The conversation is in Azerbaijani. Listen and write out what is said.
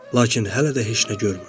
Lakin hələ də heç nə görmürdüm.